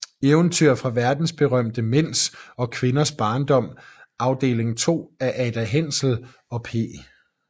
Eventyr fra verdensberømte Mænds og Kvinders Barndom Afdeling 2 af Ada Hensel og P